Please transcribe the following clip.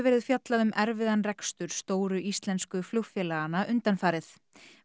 verið fjallað um erfiðan rekstur stóru íslensku flugfélaganna undanfarið